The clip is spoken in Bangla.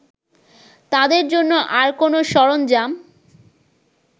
তাদের জন্য আর কোনো সরঞ্জাম